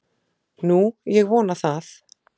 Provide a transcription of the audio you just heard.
Nú, ég vona það.